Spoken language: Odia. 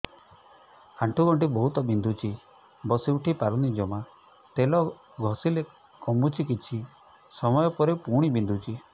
ଆଣ୍ଠୁଗଣ୍ଠି ବହୁତ ବିନ୍ଧୁଛି ବସିଉଠି ପାରୁନି ଜମା ତେଲ ଘଷିଲେ କମୁଛି କିଛି ସମୟ ପରେ ପୁଣି ବିନ୍ଧୁଛି